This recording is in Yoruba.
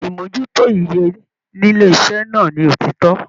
Imojuto ìyè nílé iṣẹ náà ní òtítọ.